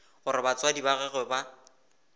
gore batswadi ba gagwe ba